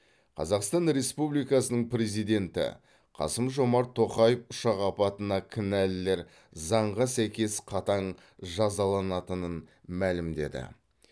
қазақстан республикасының президенті қасым жомарт тоқаев ұшақ апатына кінәлілер заңға сәйкес қатаң жазаланатынын мәлімдеді